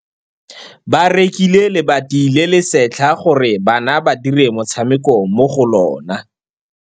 Ba rekile lebati le le setlha gore bana ba dire motshameko mo go lona.